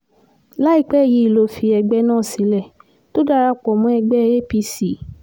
láìpẹ́ yìí ló fi ẹgbẹ́ náà sílẹ̀ tó darapọ̀ mọ́ ẹgbẹ́ apc